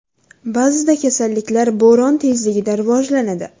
Ba’zida kasalliklar bo‘ron tezligida rivojlanadi.